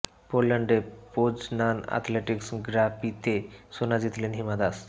পোল্যান্ডে Poznan athletics গ্ৰা প্ৰিতে সোনা জিতলেন হিমা দাস